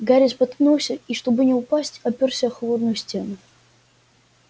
гарри споткнулся и чтобы не упасть опёрся о холодную стену